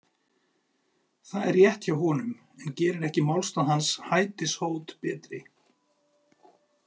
Það er rétt hjá honum, en gerir ekki málstað hans hætishót betri.